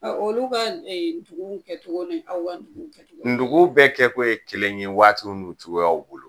olu ka l dugu kɛcogo ni aw ka dugu kɛcogoya nogow bɛɛ kɛ ko ye kelen ye waatiw n'u cogoyaw bolo.